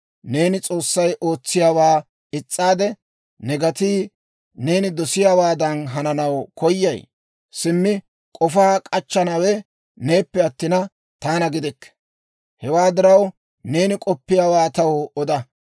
«Neeni S'oossay ootsiyaawaa is's'aade, ne gatii neeni dosiyaawaadan hananaw koyay? Simmi k'ofaa k'achchanawe neenappe attina, taana gidikke. Hewaa diraw, neeni k'oppiyaawaa taw oda.